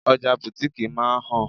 Ọjà butiiki máa ń han.